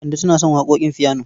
Kande tana son waƙoƙin fiyano.